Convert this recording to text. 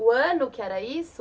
O ano que era isso?